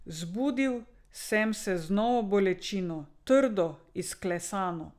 Zbudil sem se z novo bolečino, trdo, izklesano.